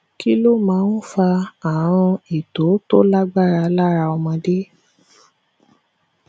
kí ló máa ń fa àrùn ito tó lágbára lára ọmọdé